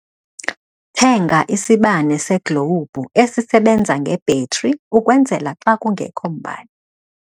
Thenga isibane seglowubhu esisebenza ngebhetri ukwenzela xa kungekho mbane.